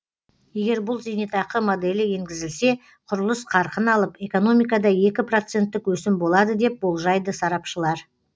егер бұл зейнетақы моделі енгізілсе құрылыс қарқын алып экономикада екі проценттік өсім болады деп болжайды сарапшылар